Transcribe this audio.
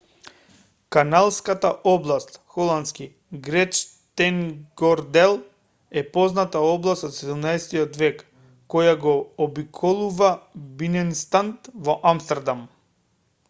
каналската област холандски: grachtengordel е позната област од 17-ти век која го обиколува биненстад во амстердам